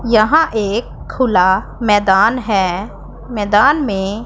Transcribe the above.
यहां एक खुला मैदान है मैदान मे --